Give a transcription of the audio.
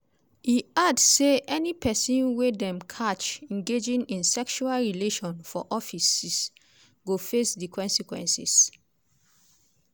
e add say any pesin wey dem catch engaging in sexual relation for offices go face di consequences.